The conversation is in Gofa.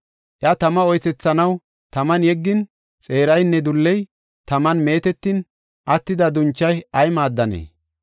Iya tama oysethanaw taman yeggin, xeeraynne dulley taman meetetin attida dunchay ay maaddanee?